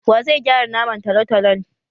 Wa zai gyara naman talotalon?